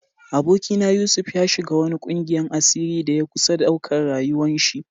Aboki na Yusuf, ya shiga wani ƙungiyan asiri da ya kusa ɗauka rayuwa'n shi.